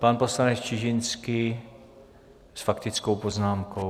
Pan poslanec Čižinský s faktickou poznámkou.